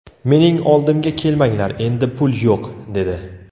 Mening oldimga kelmanglar endi pul yo‘q” dedi.